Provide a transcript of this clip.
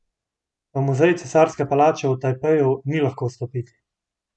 V Muzej cesarske palače v Tajpeju ni lahko vstopiti.